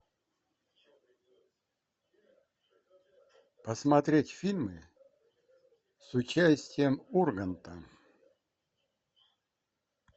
посмотреть фильмы с участием урганта